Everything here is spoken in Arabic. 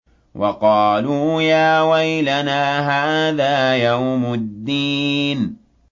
وَقَالُوا يَا وَيْلَنَا هَٰذَا يَوْمُ الدِّينِ